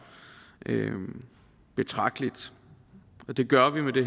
betragteligt det gør vi med det